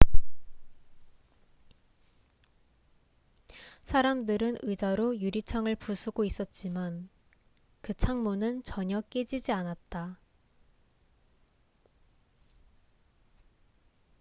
사람들은 의자로 유리창을 부수고 있었지만 그 창문은 전혀 깨지지 않았다